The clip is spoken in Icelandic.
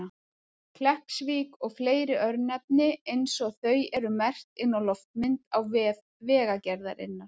Kleppsvík og fleiri örnefni eins og þau eru merkt inn á loftmynd á vef Vegagerðarinnar.